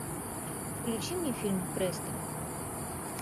включи мне фильм престо